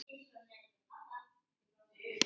Því mamma skildi flest.